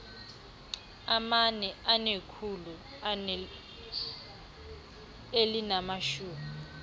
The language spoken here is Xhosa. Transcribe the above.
amane anekhulu elinamashumi